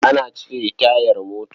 Ana cire tayar mota.